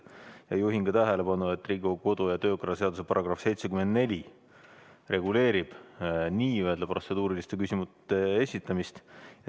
Ja juhin ka tähelepanu, et Riigikogu kodu- ja töökorra seaduse § 74 reguleerib n-ö protseduuriliste küsimuste esitamist.